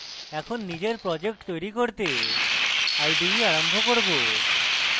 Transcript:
এখন নিজের project তৈরী করতে ide আরম্ভ করব